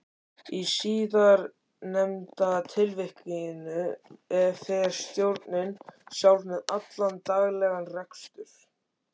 Í síðarnefnda tilvikinu fer stjórnin sjálf með allan daglegan rekstur.